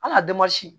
An ka